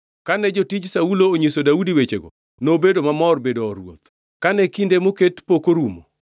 Kane jotij Saulo onyiso Daudi wechego nobedo mamor bedo or ruoth. Kane kinde moket pok orumo,